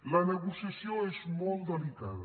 la negociació és molt delicada